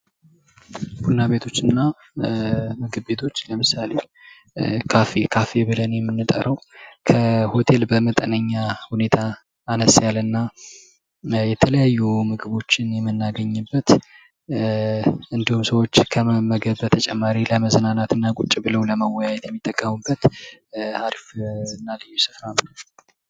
ቡና ቤቶችና ምግብ ቤቶች ለምሳሌ ካፌ ብለን ምንጠራው ከሆቴል በመጠነኛ ሁኔታ ነስ ያለ እና የተለያችን ምግቦችን የመናገኝበት እንዲሁም ሰዎች ከመመገብ በተጨማሪ